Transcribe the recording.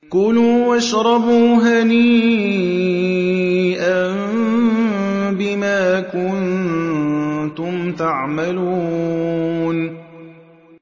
كُلُوا وَاشْرَبُوا هَنِيئًا بِمَا كُنتُمْ تَعْمَلُونَ